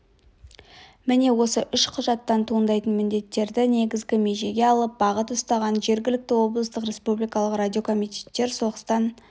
міне осы үш құжаттан туындайтын міндеттерді негізгі межеге алып бағыт ұстаған жергілікті облыстық республикалық радиокомитеттер соғыстан